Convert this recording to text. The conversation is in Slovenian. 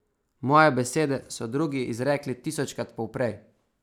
Moje besede so drugi izrekli tisočkrat poprej.